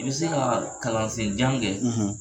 I bɛ se ka kalansen jan kɛ